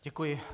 Děkuji.